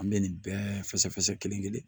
An bɛ nin bɛɛ fɛsɛ kelen-kelen